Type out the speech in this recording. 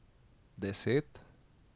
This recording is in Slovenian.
Deset?